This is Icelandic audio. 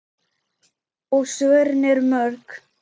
Og svörin eru mörg.